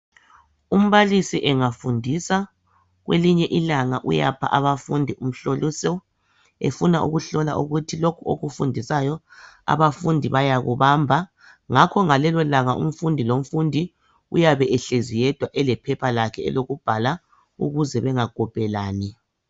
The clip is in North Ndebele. Umbalisi engafundisa , kwelinye ilanga uyapha abafundi umhloliso efuna ukuhlola ukuthi lokhu akufundisayo abafundi bayakubamba. Ngakho ngalelo langa umfundi lomfundi uyabe ehlezi yedwa elephepha lakhe lokubhala ukuze bengakopelani.